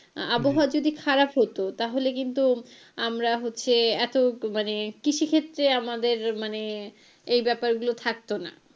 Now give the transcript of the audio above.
আবহাওয়া যদি খারাপ হতো তাহলে কিন্তু আমরা হচ্ছে এতো মানে কৃষি ক্ষেত্রে আমাদের মানে এই ব্যাপার গুলো থাকতো না।